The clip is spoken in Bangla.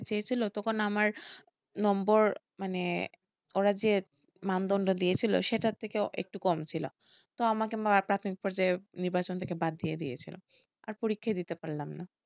চেয়েছিলো তখন আমার নম্বর মানে ওরা যে দিয়েছিলো সেটার থেকেও একটু কম ছিল, তো আমাকে প্রাথমিক পর্যায়ে নির্বাচন থেকে বাদ দিয়ে দিয়েছিলো আর পরীক্ষাই দিতে পারলাম না,